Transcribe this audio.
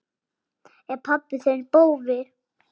Er pabbi þinn bófi?